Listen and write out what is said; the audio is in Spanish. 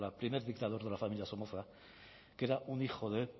primer dictador de la familia somoza que era un hijo de